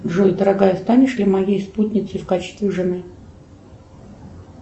джой дорогая станешь ли моей спутницей в качестве жены